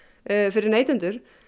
fyrir neytendur